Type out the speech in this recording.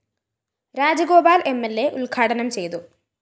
Rajagopal‍ MLA ഉദ്ഘാടനം ചെയ്തു